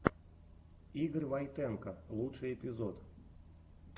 игорь войтенко лучший эпизод